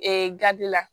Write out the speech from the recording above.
Ee gabi la